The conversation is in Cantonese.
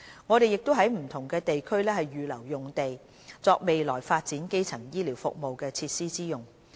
我們亦已在不同地區預留用地，作未來發展基層醫療服務設施之用。